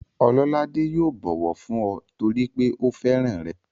Ọlọ́ládé yóò bọ̀wọ̀ fún ọ torípé ó fẹ́ràn rẹ̀